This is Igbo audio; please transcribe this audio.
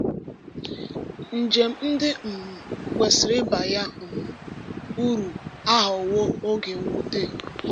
Njem ndị um kwesịrị ịba ya um uru aghọwo oge mwute.